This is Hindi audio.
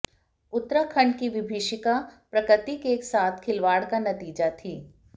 उत्तराखंड की विभीषिका प्रकृति के साथ खिलवाड़ का नतीजा थी